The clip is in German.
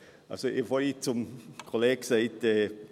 – Ich habe vorhin zu meinem Kollegen gesagt: